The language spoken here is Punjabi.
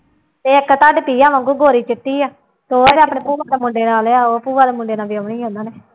ਇੱਕ ਤੁਹਾਡੀ ਪ੍ਰਿਆ ਵਾਂਗੂ ਗੋਰੀ ਚਿੱਟੀ ਆ ਭੂੂਆ ਕੇ ਮੁੰਡੇ ਨਾਲ ਆ ਉਹ ਭੂਆ ਦੇ ਮੁੰਡੇ ਨਾਲ ਵਿਆਹੁਣੀ ਉਹਨਾਂ ਨੇ।